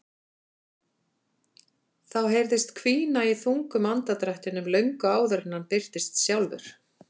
Það heyrðist hvína í þungum andardrættinum löngu áður en hann birtist sjálfur.